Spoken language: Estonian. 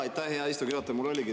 Aitäh, hea istungi juhataja!